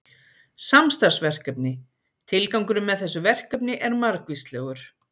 Samstarfsverkefni Tilgangurinn með þessu verkefni er margvíslegur.